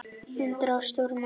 Undur og stórmerki.